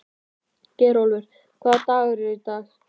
Geirólfur, hvaða dagur er í dag?